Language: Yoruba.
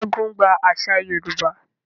Segun gba àṣà Yorùbá.